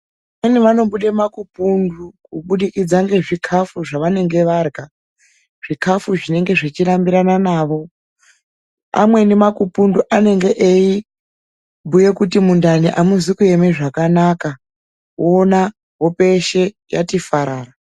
Vamweni vanobuda makupundu kubudikidza ngezvikafu zvavanenge varya, zvikafu zvinenge zvechirambirana navo, amweni makupundu anenge eibhuya kuti mundani amuzi kuema zvakanaka, woona hope yeshe yati farara.